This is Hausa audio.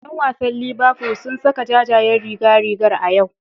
Yan wasan Liverful sun saka jajayen rigar rigar a yau.